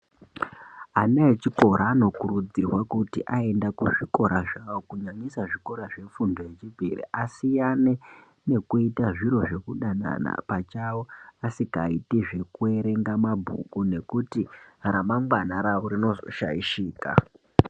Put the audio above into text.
Ana echikora anokurudzirwa kuti aenda kuzvikora zvawo kunyanyisa zvikora zvefundo yechipiri asiyane nekuita zviro zvekudanana pachawo asikaiti zvekuerenga mabhuku nekuti ramangwana ravo rinozoshaishika.